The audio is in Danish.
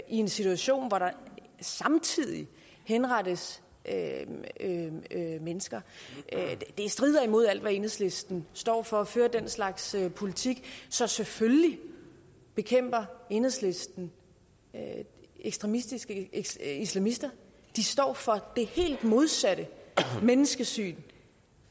en situation hvor der samtidig henrettes mennesker det strider mod alt hvad enhedslisten står for at føre den slags politik så selvfølgelig bekæmper enhedslisten ekstremistiske islamister de står for det helt modsatte menneskesyn